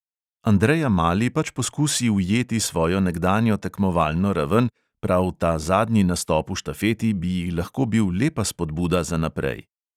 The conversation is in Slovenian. Andreja mali pač poskusi ujeti svojo nekdanjo tekmovalno raven, prav ta zadnji nastop v štafeti bi ji lahko bil lepa spodbuda za naprej.